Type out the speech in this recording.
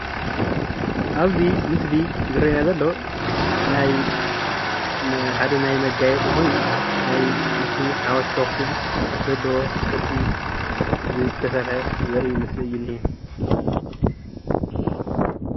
አብዚ ምስሊ ዝረአየና ዘሎ ናይ ሓደ ናይ መገያየፂ ኮይኑ ናይ ምስሊ ሓወልቲ አክሱም ዘለዎ ቅርሲ ዝተሰርሐ ዘርኢ ምስሊ እዩ እኒሃ።